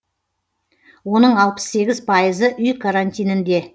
оның алпыс сегіз пайызы үй карантинінде